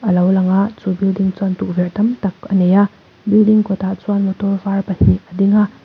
alo lang a chu building chuan tukverh tam tak a nei a building kawt ah chuan motor var pahnih a ding a.